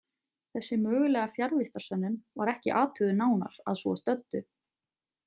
Þessi mögulega fjarvistarsönnun var ekki athuguð nánar að svo stöddu.